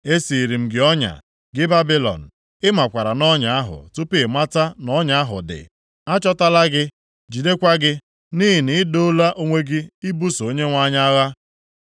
Esiiri m gị ọnya, gị Babilọn; ị makwara nʼọnya ahụ tupu ị mata na ọnya ahụ dị. A chọtala gị, jidekwa gị, nʼihi na i doola onwe gị ibuso Onyenwe anyị agha.